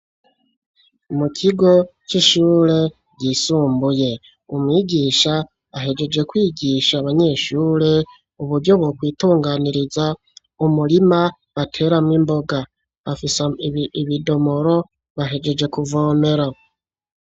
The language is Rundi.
Mu kigo c'ishure ryisumbuye, umwigisha ahejeje kwigisha abanyeshure uburyo bo kwitunganiriza umurima bateramwo imboga, bafise ibidomoro bahejeje kuvomera.